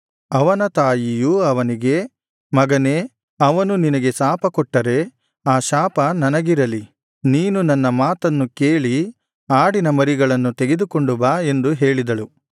ಅವನ ತಾಯಿಯು ಅವನಿಗೆ ಮಗನೇ ಅವನು ನಿನಗೆ ಶಾಪಕೊಟ್ಟರೆ ಆ ಶಾಪ ನನಗಿರಲಿ ನೀನು ನನ್ನ ಮಾತನ್ನು ಕೇಳಿ ಆಡಿನ ಮರಿಗಳನ್ನು ತೆಗೆದುಕೊಂಡು ಬಾ ಎಂದು ಹೇಳಿದಳು